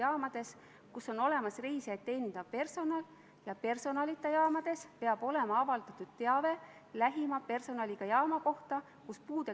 Ma arvan, et te peaksite omaenda valitsusliikmetele esitama neid küsimusi, miks nad selle eelnõuga täna on siia tulnud.